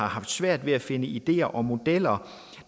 har svært ved at finde de ideer og modeller